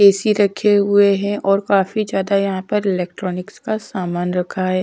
AC रखे हुए हैं और काफी ज्यादा यहाँ पर इलेक्ट्रॉनिक्स का सामान रखा है।